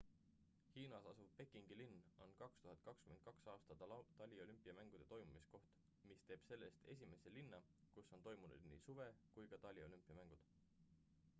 hiinas asuv pekingi linn on 2022 aasta taliolümpiamängude toimumiskoht mis teeb sellest esimese linna kus on toimunud nii suve kui ka taliolümpiamängud